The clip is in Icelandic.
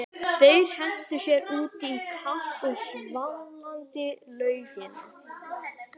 Þeir hentu sér út í kalda og svalandi laugina.